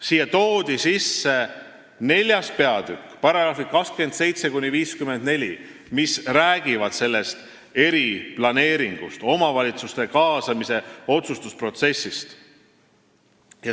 Sinna toodi sisse 4. peatükk, mille §-d 27–54 räägivad eriplaneeringust ja omavalitsuste kaasamisest otsustusprotsessi.